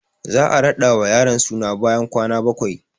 Za a raɗa wa yaron suna bayan kwana bakwai